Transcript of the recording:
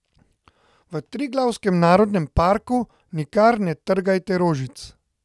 V Triglavskem narodnem parku nikar ne trgajte rožic.